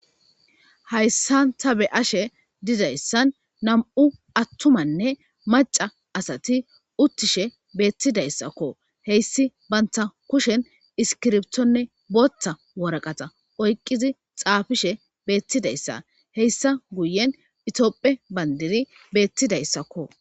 Hayssan tha be7ashe dizayssan nam7u aththumanne macca asathi uththishe beeththidayssakko; heyssi banththa kushen iskiribthonne booththa worqatha oyqqizi xaafishe beeththidayssa; heyssa guyen itoophphe banddiri beeththidayssakko.